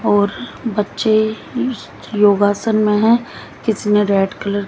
और बच्चे योगासन में है किसी ने रेड कलर --